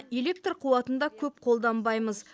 электр қуатын да көп қолданбаймыз